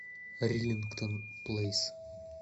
риллингтон плейс